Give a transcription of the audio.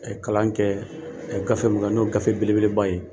Ɛ Kalan kɛ gafe min na n'o ye gafe beleba ye